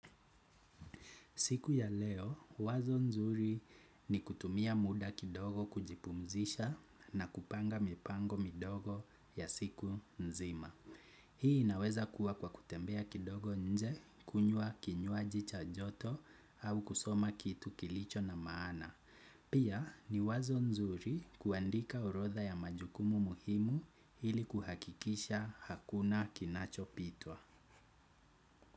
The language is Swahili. Siku ya leo wazo nzuri ni kutumia muda kidogo kujipumzisha na kupanga mipango midogo ya siku nzima. Hii inaweza kuwa kwa kutembea kidogo nje kunyua kinyuaji cha joto au kusoma kitu kilicho na maana. Pia ni wazo nzuri kuandika orodha ya majukumu muhimu ili kuhakikisha hakuna kinachopitwa.